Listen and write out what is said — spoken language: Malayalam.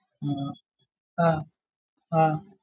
ആ ആഹ് ആഹ്